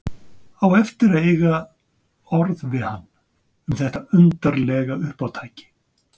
Á eftir að eiga orð við hann um þetta undarlega uppátæki.